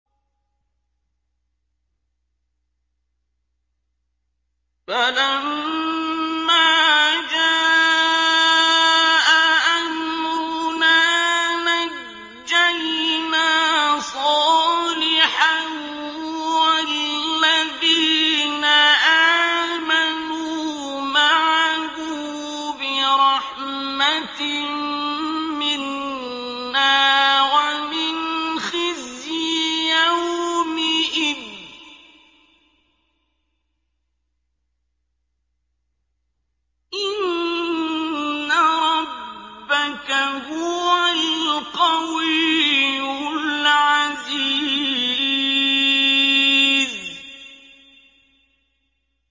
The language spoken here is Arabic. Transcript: فَلَمَّا جَاءَ أَمْرُنَا نَجَّيْنَا صَالِحًا وَالَّذِينَ آمَنُوا مَعَهُ بِرَحْمَةٍ مِّنَّا وَمِنْ خِزْيِ يَوْمِئِذٍ ۗ إِنَّ رَبَّكَ هُوَ الْقَوِيُّ الْعَزِيزُ